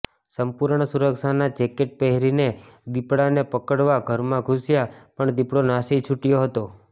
સંપૂર્ણ સુરક્ષાના જેકેટ પહેરીને દીપડાને પકડવા ઘરમાં ઘુસ્યા પણ દીપડો નાસી છૂટ્યો હતો